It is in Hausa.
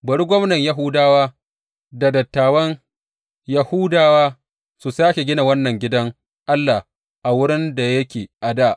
Bari gwamnan Yahudawa, da dattawan Yahudawa su sāke gina wannan gidan Allah a wurin da yake a dā.